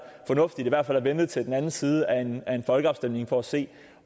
fornuftigt i hvert fald at vente til den anden side af en folkeafstemning for at se